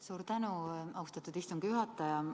Suur tänu, austatud istungi juhataja!